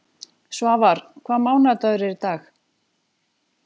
Svafar, hvaða mánaðardagur er í dag?